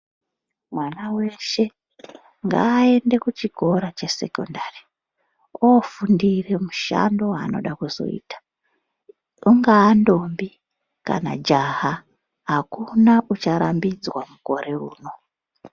Mwana weshe ngaende kuchikora chesekondari ofundire mushando waanoda kuzoita. Ungaa ndombi kana jaha akuna ucharambidzwa mukore uno.